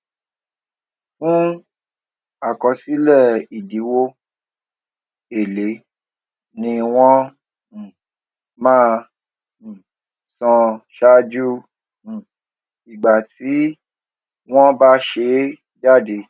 fún àkọsílẹ ìdíwó èlé ni wọn um máa um san ṣáájú um ìgbà tí wón bá ṣe é jáde